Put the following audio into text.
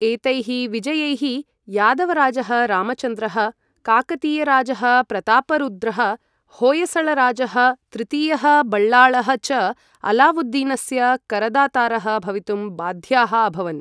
एतैः विजयैः यादवराजः रामचन्द्रः, काकतीयराजः प्रतापरुद्रः, होय्सळराजः तृतीयः बल्लाळः च अलावुद्दीनस्य करदातारः भवितुं बाध्याः अभवन्।